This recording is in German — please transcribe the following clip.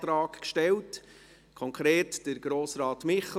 4,5 Mio. Damit werden kleinere Klassen wieder möglich.